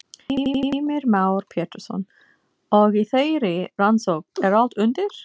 Heimir Már Pétursson: Og í þeirri rannsókn er allt undir?